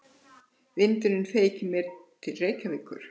Vindurinn feykir mér til Reykjavíkur.